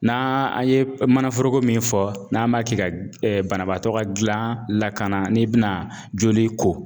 N'a an ye mana forogo min fɔ n'an b'a kɛ ka banabaatɔ ka gilan lakana n'i bɛna joli ko.